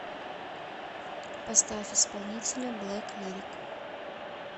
поставь исполнителя блэк лирик